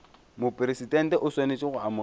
mopresidente o swanetše go amogela